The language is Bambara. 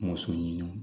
Muso ɲini